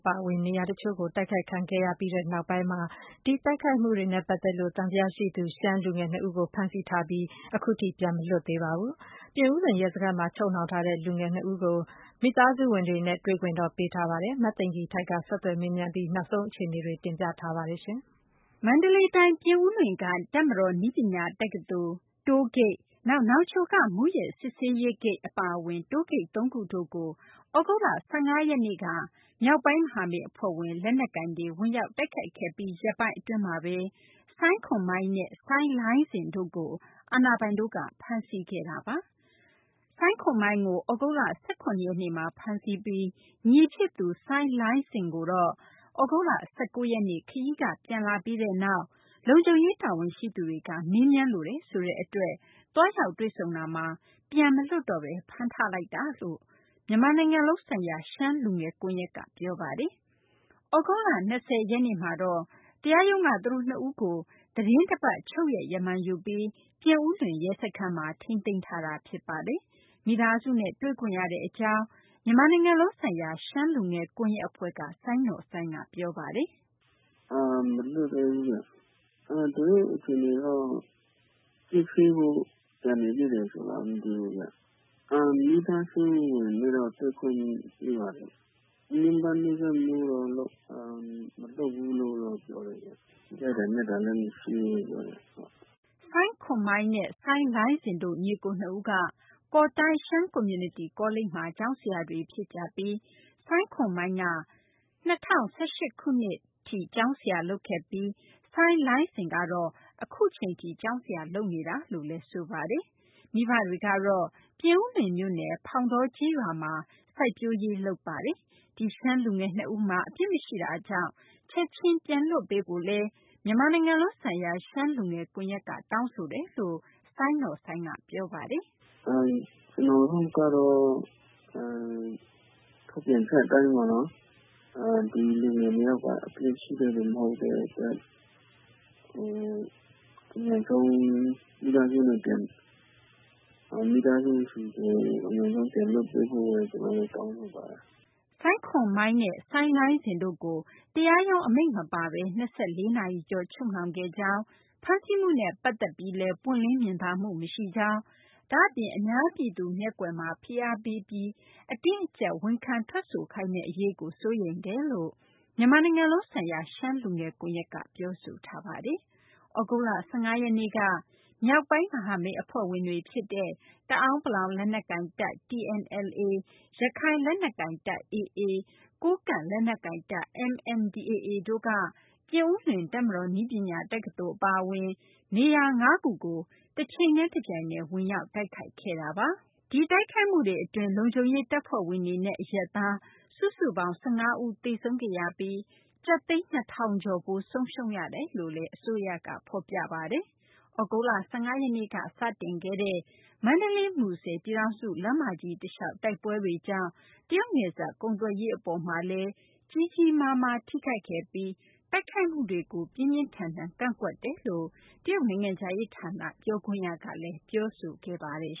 ပါအဝင် နေရာတချို့ တိုက်ခိုက်ခံရပြီးနောက် ဒီတိုက်ခိုက်မှုတွေနဲ့ ပတ်သက်ပြီး မသကာၤမှုနဲ့ ရှမ်းလူငယ် နှစ်ဦးကို ဖမ်းဆီးထားပြီး အခုအချိန်ထိ ပြန်မလွတ်သေးပါဘူး။ ပြင်ဦးလွင် ရဲစခန်းမှာ ချုပ်နှောင်ထားတဲ့ ဒီလူငယ် နှစ်ဦးကို မိသားစုက တွေ့ခွင့်ရရှိခဲ့ပါတယ်။ နောက်ဆုံးရ အခြေအနေကို မသိင်္ဂ ီထိုက် ဆက်သွယ်မေးမြန်းထားပါတယ်။ မန္တလေးတိုင်း ပြင်ဦးလွင်က တပ်မတော် နည်းပညာ တက္ကသိုလ်၊ တိုးဂိတ်၊ နောက် နောင်ချိုက မူးယစ် စစ်ဆေးရေး ဂိတ် အပါအဝင် တိုးဂိတ် ၃ ခုတို့ သြဂုတ်လ ၁၅ ရက်နေ့က မြောက်ပိုင်း မဟာမိတ် အဖွဲ့ဝင် လက်နက်ကိုင်တွေ ဝင်ရောက်တိုက်ခိုက်ခဲ့ပြီး ရက်ပိုင်း အတွင်းမှာဘဲ စိုင်းခွန်မိုင်းနဲ့ စိုင်းလိုင်းစင်တို့ကို အာဏာပိုင်တို့က ဖမ်းဆီးခဲ့တာပါ။ စိုင်းခွန်မိုင်းကို သြဂုတ်လ ၁၇ ရက်နေ့မှာ ဖမ်းဆီးပြီး ညီဖြစ်သူ စိုင်းလိုင်းစင်ကိုတော့ သြဂုတ်လ ၁၉ ရက်နေ့ ခရီးက ပြန်လာပြီးနောက် လုံခြုံရေး တာဝန်ရှိသူတွေက မေးမြန်းလိုတယ် ဆိုတဲ့ အတွက် သွားရောက် တွေ့ဆုံတာမှာ ပြန်မလွှတ်တော့ဘဲ ဖမ်းထားလိုက်တာလို့ မြန်မာနိုင်ငံလုံး ဆိုင်ရာ ရှမ်းလူငယ် ကွန်ရက်က ပြောဆိုထားပါတယ်။ သြဂုတ်လ ၂၀ ရက်နေ့မှာတော့ တရားရုံးမှာ သူတို့ နှစ်ဦးကို သီတင်းတပတ် ချုပ်ရက် ရမန် ရယူပြီး ပြင်ဦးလွင် ရဲစခန်းမှာ ထိန်းသိမ်းထားတာ ဖြစ်ပါတယ်။ မိသားစုနဲ့ တွေ့ခွင့်ရတဲ့ အကြောင်း မြန်မာနိုင်ငံလုံး ဆိုင်ရာ ရှမ်းလူငယ် ကွန်ယက် အဖွဲ့က စိုင်းနော်စိုင်းက ပြောပါတယ်။ “မလွှတ်သေးဘူးခင်ဗျ။ သူတို့အခြေအနေကတော့ စစ်ဆေးဖို့ ကျန်နေသေးတယ်ဆိုလားမသိဘူး။ မိသားစုဝင်တွေနဲ့တော့ တွေ့ခွင့်ပေးပါတယ်။ ညှဉ်းပမ်းနှိတ်စက်မှုကတော့ မလုပ်ဘူးလို့ပြောတယ်ခင်ဗျ။ ရိုက်တာနက်တာလည်းမရှိဘူးလို့ ပြောတယ်ခင်ဗျ။” စိုင်းခွန်မိုင်းနဲ့ စိုင်းလိုင်းစင် တို့ ညီအကို နှစ်ဦးက ကော်တိုင်း ရှမ်းကွန်မြူနတီ ကောလိပ်မှာ ကျောင်းဆရာတွေ ဖြစ်ကြပြီး စိုင်းခွန်မိုင်းက ၂၀၁၈ ခုနှစ် အထိ ကျောင်းဆရာ လုပ်ခဲ့ပြီး စိုင်းလိုင်းစင်ကတော့ အခုအချိန်ထိ ကျောင်းဆရာ လုပ်နေတာလို့လည်း ဆိုပါတယ်။ မိဘတွေကတော့ ပြင်ဦးလွင်မြို့နယ် ဖောင်တောကျေးရွာမှာ စိုက်ပျိုးရေး လုပ်ကိုင်ကြပါတယ်။ ဒီရှမ်းလူငယ် နှစ်ဦးမှာ အပြစ်မရှိတာကြောင့် ချက်ချင်း ပြန်လွှတ်ပေးဖို့လည်း မြန်မာနိုင်ငံလုံး ဆိုင်ရာ ရှမ်းလူငယ် ကွန်ရက်က တောင်းဆိုကြောင်းလည်း စိုင်းနော်စိုင်းက ပြောပါတယ်။ “ကျနော်တို့ကတော့ ထုတ်ပြန်ချက်အတိုင်းပေါ့နော် ဒီလူငယ် ၂ ယောက်က အပြစ်ရှိတဲ့လူတွေ မဟုတ်တဲ့အတွက် မိသားစုဆီကို အမြန်ဆုံးပြန်လွှတ်ပေးဖို့ တောင်းဆိုပါတယ်။” စိုင်းခွန်မိုင်းနဲ့ စိုင်းလိုင်းစင်တို့ ကို တရားရုံး အမိန့်မပါဘဲ ၂၄ နာရီ ကျော် ချုပ်နှောင်ခဲ့ကြောင်း၊ ဖမ်းဆီးမှုနဲ့ ပတ်သက်ပြီးလည်း ပွင့်လင်းမြင်သာမှု မရှိကြောင်း၊ ဒါ့အပြင် အများပြည်သူ မျက်ကွယ်မှာ ဖိအားပေးပြီး အတင်းအကြပ် ဝန်ခံ ထွက်ဆိုခိုင်းမယ့် အရေးကိုလည်း စိုးရိမ်တယ်လို့ မြန်မာနိုင်ငံလုံးဆိုင်ရာ ရှမ်းလူငယ် ကွန်ရက်က ပြောဆိုထားပါတယ်။ သြဂုတ်လ ၁၅ ရက်နေ့က မြောက်ပိုင်း မဟာမိတ် အဖွဲ့ဝင်တွေ ဖြစ်တဲ့ တအာန်းပလောင် လက်နက်ကိုင်တပ် TNLA၊ ရခိုင်လက်နက်ကိုင်တပ် AA ၊ ကိုးကန့် လက်နက်ကိုင်တပ် MNDAA တို့က ပြင်ဦးလွင် တပ်မတော် နည်းပညာ တက္ကသိုလ် အပါအဝင် နေရာ ၅ ခုကို တချိန်တည်း တပြိုင်တည်း ဝင်ရောက် တိုက်ခိုက်ခဲ့တာပါ။ ဒီတိုက်ခိုက်မှုတွေ အတွင်း လုံခြုံရေး တပ်ဖွဲ့ဝင်တွေနဲ့ အရပ်သား စုစုပေ၇ါင်း ၁၅ ဦး သေဆုံးခဲ့ရပြီး ကျပ်သိန်း ၂ ထောင်ကျော်ဖိုး ဆုံးရှုံးခဲ့ရတယ်လို့လည်း အစိုးရက ဖော်ပြထားပါတယ်။ သြဂုတ်လ ၁၅ ရက်နေ့က စတင်ခဲ့တဲ့ မန္တလေး - မူဆယ် ပြည်ထောင်စု လမ်းမကြီး တလျှောက် တိုက်ပွဲတွေကြောင့် တရုတ်နယ်စပ်ကုန်သွယ်ရေး အပေါ်မှာလည်း ကြီးကြီးမားမား ထိခိုက်ခဲ့ပြီး တိုက်ခိုက်မှုတွေကို ပြင်းပြင်းထန်ထန် ကန့်ကွက်ကြောင်း တရုတ် နိုင်ငံခြားရေး ဌာန ပြောခွင့်ရကလည်း ပြောဆိုခဲ့ပါတယ်